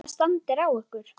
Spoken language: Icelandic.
Hvaða stand er á ykkur?